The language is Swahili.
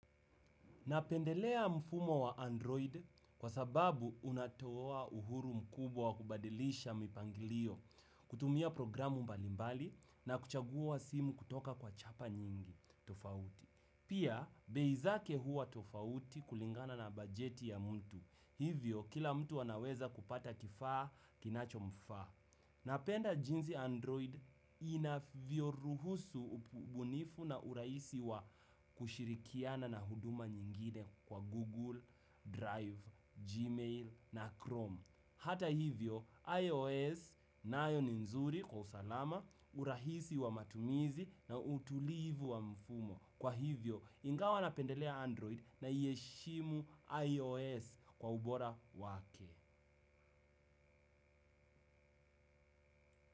Napendelea mfumo wa Android kwa sababu unatoa uhuru mkubwa wa kubadilisha mipangilio kutumia programu mbalimbali na kuchagua wa simu kutoka kwa chapa nyingi tofauti. Pia, bei zake huwa tofauti kulingana na bajeti ya mtu. Hivyo, kila mtu anaweza kupata kifaa kinacho mfaa. Napenda jinsi Android inavyo ruhusu ubunifu na urahisi wa kushirikiana na huduma nyingine kwa Google Drive, Gmail na Chrome. Hata hivyo, IOS nayo nzuri kwa usalama, urahisi wa matumizi na utulivu wa mfumo. Kwa hivyo, ingawa napendelea Android naiheshimu IOS kwa ubora wake.